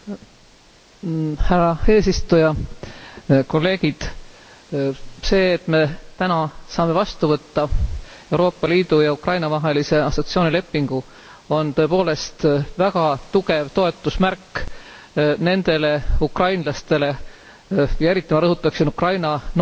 Härra eesistuja, kolleegid! See, et me täna saame vastu võtta Euroopa Liidu ja Ukraina vahelise assotsieerimislepingu, on tõepoolest väga tugev toetusmärk nendele ukrainlastele eriti ma rõhutaksin Ukraina noorele põlvkonnale